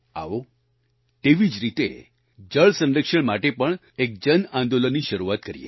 આવો તેવી જ રીતે જળ સંરક્ષણ માટે પણ એક જન આંદોલનની શરૂઆત કરીએ